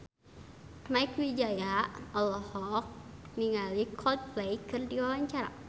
Mieke Wijaya olohok ningali Coldplay keur diwawancara